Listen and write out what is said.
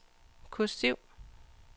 kursiv